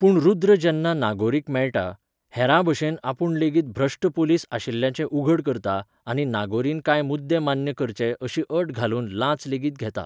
पूण रुद्र जेन्ना नागोरीक मेळटा, हेरां भशेन आपुण लेगीत भ्रश्ट पोलीस आशिल्ल्याचें उघड करता आनी नागोरीन कांय मुद्दे मान्य करचे अशी अट घालून लांच लेगीत घेता.